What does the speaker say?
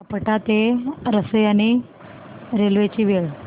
आपटा ते रसायनी रेल्वे ची वेळ